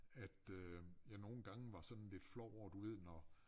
At øh jeg nogle gange var sådan lidt flov over du ved når